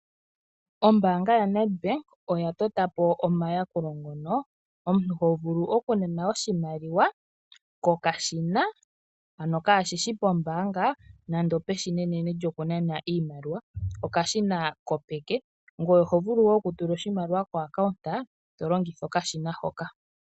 Ombaanga ya Netbank oya totapo omayakulo ngono omuntu ho vulu oku nana oshimaliwa kokashina, ano kashishi pombaanga nando peshina enene lyo kunana iimaliwa okashina kopeke gwee oho vulu wo oku tula oshimali ko akawunda tolongitha okashina hoka